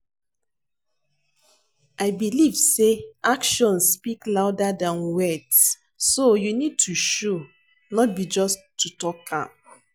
I believe say actions speak louder than words, so you need to show, not be just to talk am.